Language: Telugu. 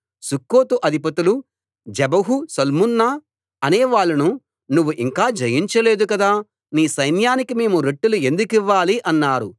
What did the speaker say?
సుక్కోతు అధిపతులు జెబహు సల్మున్నా అనే వాళ్ళను నువ్వు ఇంకా జయించలేదు కదా నీ సైన్యానికి మేము రొట్టెలు ఎందుకివ్వాలి అన్నారు